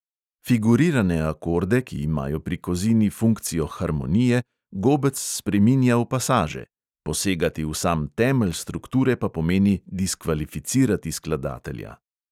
Figurirane akorde, ki imajo pri kozini funkcijo harmonije, gobec spreminja v pasaže; posegati v sam temelj strukture pa pomeni diskvalificirati skladatelja.